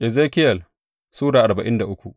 Ezekiyel Sura arba'in da uku